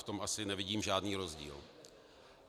V tom asi nevidím žádný rozdíl.